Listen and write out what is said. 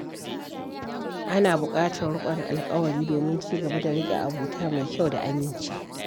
Ana buƙatar riƙon alƙawari domin ci gaba da riƙe abota mai kyau da aminci.